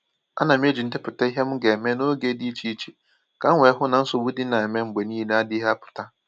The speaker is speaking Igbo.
A na m eji ndepụta ihe m ga-eme n’oge dị iche iche ka m wee hụ na nsogbu ndị na-eme mgbe niile adịghị apụta